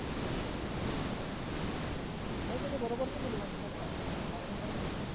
नाही त्यानी बरोबर नाही केली washing असं सांगतोय गायरन करत नाही.